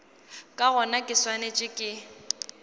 ka gona ke swanetše ke